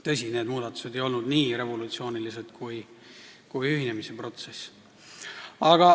Tõsi, need muudatused ei olnud nii revolutsioonilised kui ühinemisprotsess.